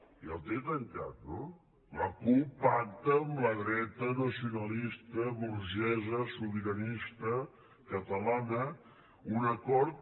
ja el té tancat no la cup pacta amb la dreta nacionalista burgesa sobiranista catalana un acord